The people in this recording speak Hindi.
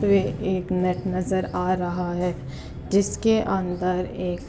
ये एक नेट नजर आ रहा है जिसके अंदर एक --